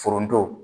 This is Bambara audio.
Foronto